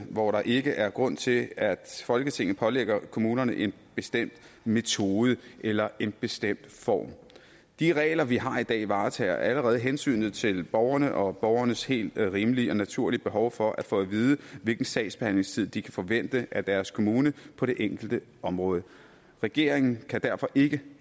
hvor der ikke er grund til at folketinget pålægger kommunerne en bestemt metode eller en bestemt form de regler vi har i dag varetager allerede hensynet til borgerne og borgernes helt rimelige og naturlige behov for at få at vide hvilken sagsbehandlingstid de kan forvente af deres kommune på det enkelte område regeringen kan derfor ikke